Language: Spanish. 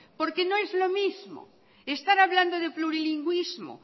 porque no es lo mismo estar hablando de plurilingüismo